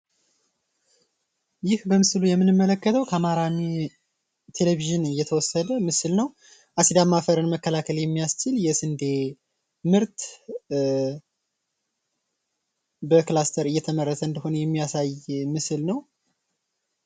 ይህ በምስሉ ላይ የምንመለከተው ከአማራ ቴሌቪዥን የተወሰደ ምስል ነው። አሲዳማ አፈርን መከላከል የሚያስችል የስንዴ ምርት በክላስተር እየተመረተ እንደሆነ የሚያሳይ ምስል ነው።